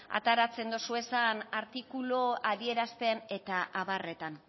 ateratzen dozuezan artikulu adierazpen eta abarretan